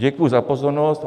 Děkuji za pozornost.